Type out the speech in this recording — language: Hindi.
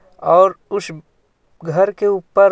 और कुछ घर के ऊपर --